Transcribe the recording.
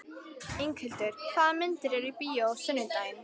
Inghildur, hvaða myndir eru í bíó á sunnudaginn?